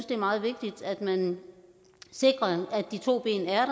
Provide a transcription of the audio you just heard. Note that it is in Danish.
det er meget vigtigt at man sikrer at de to ben er